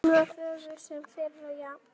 Hún var fögur sem fyrr og jafn